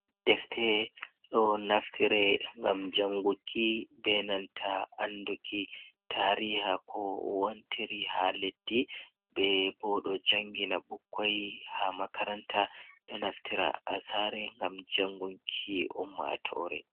Defte ɗo naftire gam janguki, benanta anduki tariha ko wantiri ha leddi, be bo ɗo jangina bukkai ha makaranta, ɗo naftira hasare gam jangunki ummatore.